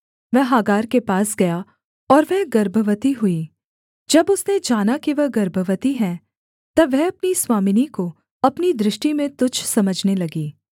वह हागार के पास गया और वह गर्भवती हुई जब उसने जाना कि वह गर्भवती है तब वह अपनी स्वामिनी को अपनी दृष्टि में तुच्छ समझने लगी